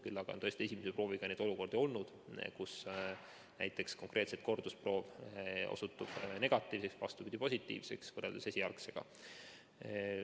Küll aga on tõesti esimese prooviga neid olukordi olnud, kus näiteks kordusproov osutub negatiivseks või, vastupidi, positiivseks võrreldes esialgsega.